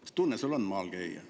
Mis tunne sul on maal käia?